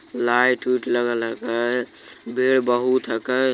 लाइट ओएट लगेल हकय। भीड़ बहुत हकय।